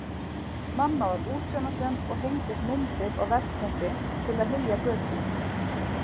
Mamma var útsjónarsöm og hengdi upp myndir og veggteppi til að hylja götin.